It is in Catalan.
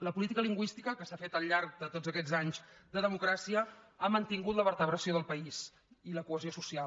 la política lingüística que s’ha fet al llarg de tots aquests anys de democràcia ha mantingut la vertebració del país i la cohesió social